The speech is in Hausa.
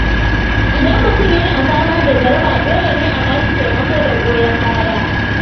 Idan mutum yana fama da jaraba, dole ne a ba shi taimako da goyon baya.